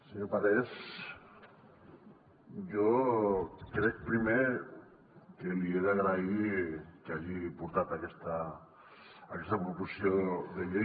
senyor parés jo crec que primer li he d’agrair que hagi portat aquesta proposició de llei